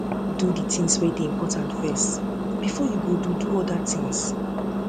do di things wey de important first before you do do other things